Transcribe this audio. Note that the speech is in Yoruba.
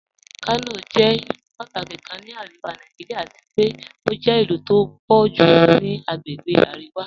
Kanọ jẹ̀ ilu pàtàkí kàn ní Aríwá Nàìjíríà àti pẹ̀ o jẹ̀ ilu tí o pọ̀ julọ ni àgbègbè Aríwá.